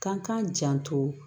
Kan k'a janto